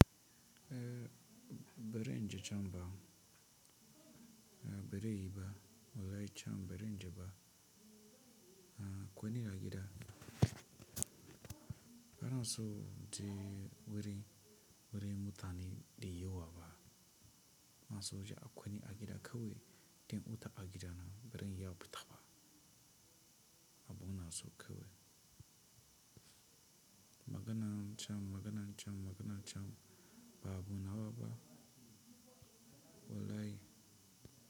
Eh, barin je can ba, eh bare yi ba, wallahi can birin je ba. Eh kwani agida banso inje wuri, wurin mutane de yiwaba. Banans je a kwani agida kawai, dan huta agida nan baran iya fita ba. Abu inaso kawai. Maganan can, maganan can, maganan can ba abu nawa ba, wallahi.